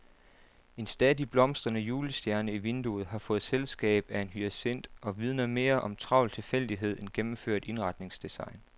En stadig blomstrende julestjerne i vinduet har fået selskab af en hyacint og vidner mere om travl tilfældighed end gennemført indretningsdesign.